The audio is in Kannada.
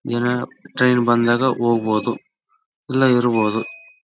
ಎನಾ ಟ್ರೈನ್ ಬಂದಾಗ ಹೋಗ್ಬಹುದು ಇಲ್ಲ ಇರ್ಬಹುದು.